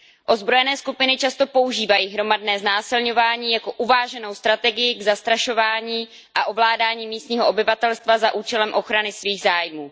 Ozbrojené skupiny často používají hromadné znásilňování jako uváženou strategii k zastrašování a ovládání místního obyvatelstva za účelem ochrany svých zájmů.